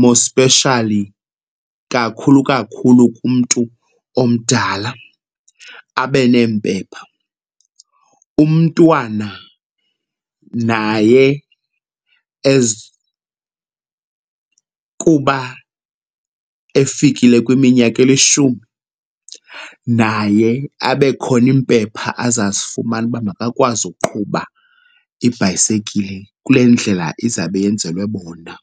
more especially kakhulu kakhulu kumntu omdala, abe neempepha. Umntwana naye as kuba efikile kwiminyaka elishumi naye abe khona iimpepha azazifumana uba makakwazi uqhuba ibhayisekile kule ndlela izabe yenzelwe bona.